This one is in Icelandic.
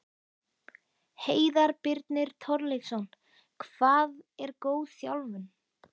Heiðar Birnir Torleifsson Hvað er góð þjálfun?